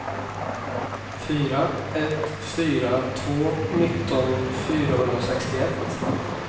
fyra ett fyra två nitton fyrahundrasextioett